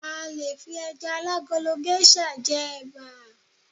a le fi eja alagolo geisha je eba